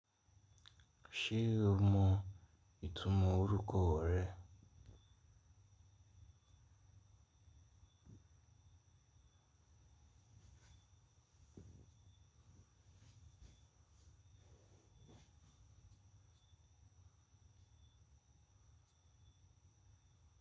Se o ma itumo oruko re?